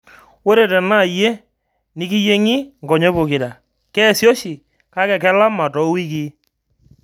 Ore tenaa iyie nikiyieng'I nkonyek pokira, keasi oshi kake kelama toowikii.